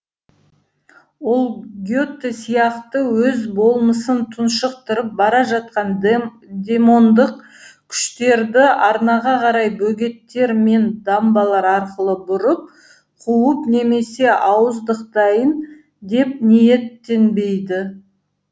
ол гете сияқты өз болмысын тұншықтырып бара жатқан демондық күштерді арнаға қарай бөгеттер мен дамбалар арқылы бұрып қуып немесе ауыздықтайын деп ниеттенбейді